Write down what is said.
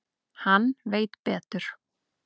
Hann veit betur.